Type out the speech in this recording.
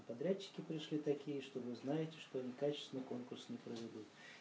подрядчики пришли такие что вы знаете что они качественно конкурс не проведут